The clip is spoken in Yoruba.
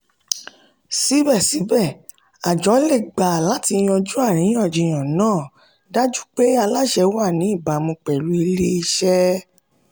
síbẹ̀síbẹ̀ àjọ le gbé láti yanju àríyànjiyàn náà dájú pé aláṣẹ wà ní ìbámu pẹ̀lú ilé-iṣẹ́.